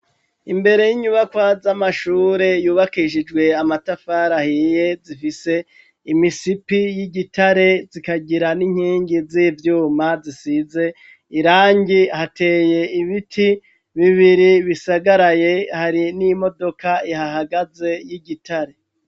Imbere y'inyubaka z'amashure yubakishijwe amatafarahiye zifise imisipi y'igitare zikagira n'inkingi z'ivyuma zisize irangi hateye ibiti bibiri bisagaraye hari n'imodoka ihahagaze y'igitare.